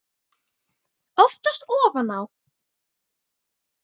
Oftast ofan á.